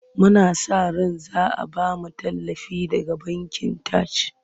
Muna sa ran za a ba mu tallafi daga bankin Taj.